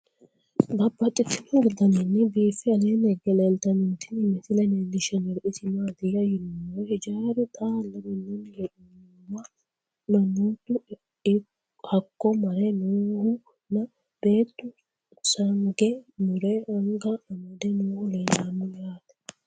Babaxxittinno daninni biiffe aleenni hige leelittannotti tinni misile lelishshanori isi maattiya yinummoro hijjaru xaalla minnanni hee'noonnihuwa manoottu hakko mare noohu nna beettu sange mure anga amadde noohu leelanno yaatte